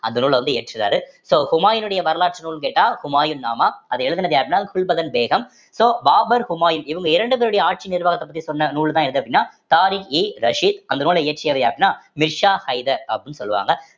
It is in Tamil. அந்த நூல்ல வந்து இயற்றுறாரு so ஹூமாயினுடைய வரலாற்று நூல் கேட்டால் ஹுமாயூன் நாமா அதை எழுதினது யாருன்னா குல்பதன் பேகம் so பாபர் ஹுமாயூன் இவங்க இரண்டு பேருடைய ஆட்சி நிர்வாகத்தை பற்றி சொன்ன நூல்தான் எது அப்படின்னா தாரிக்-இ-ரஷிதி அந்த நூலை இயற்றியவை அப்படின்னா மிர்சா ஹைதர்